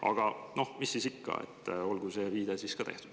Aga noh, mis siis ikka, olgu see viide ka tehtud.